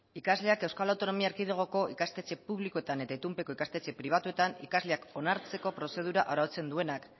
ikasleak euskal autonomi erkidegoko ikastetxe publikoetan eta itunpeko ikastetxe pribatuetan ikasleak onartzeko prozedura arautzen duenak